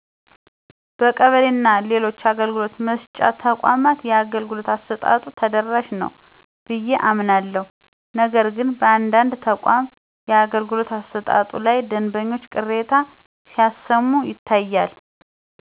በቀበሌ እና ሌሎችአገልግሎት መስጫ ተቋማት የአገልግሎት አሰጣጡ ተደራሽ ነዉ ብየ አምናለሁ ነገርግን በአንዳንድ ተቋማት የአገልግሎት አሰጣጡ ላይ ደንበኞች ቅሬታ ሲያሰማ ይታያል